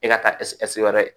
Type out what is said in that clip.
E ka taa wɛrɛ